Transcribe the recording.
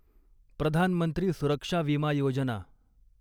प्रधान मंत्री सुरक्षा विमा योजना